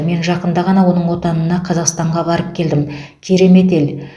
мен жақында ғана оның отанына қазақстанға барып келдім керемет ел